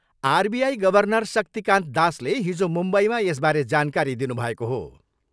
RBI governor Shaktikanta दासले हिजो मुम्बईमा यसबारे जानकारी दिनुभएको हो।